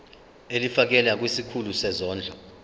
ulifiakela kwisikulu sezondlo